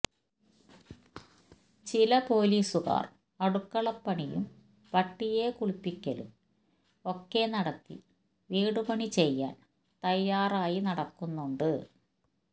ചില പൊലീസുകാർ അടുക്കളപ്പണിയും പട്ടിയെ കുളിപ്പിക്കലും ഒക്കെ നടത്തി വിടുപണി ചെയ്യാൻ തയ്യാറായി നടക്കുന്നുണ്ട്